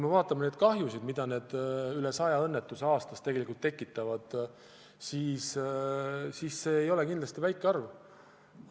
Vaatame seda kahju, mida need rohkem kui sada õnnetust aastas tekitavad – see ei ole kindlasti väike arv.